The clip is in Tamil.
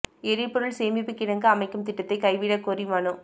எரிபொருள் சேமிப்புக் கிடங்கு அமைக்கும் திட்டத்தை கைவிடக் கோரி மனு